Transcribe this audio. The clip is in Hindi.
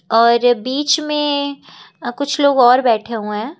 और बीच में कुछ लोग और बैठे हुए हैं।